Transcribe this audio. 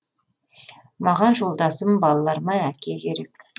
маған жолдасым балаларыма әке керек